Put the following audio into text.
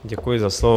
Děkuji za slovo.